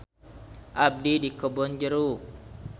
Abdi di Kebon Jeruk.